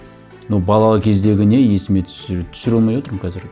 но бала кездегі не есіме түсіре алмай отырмын қазір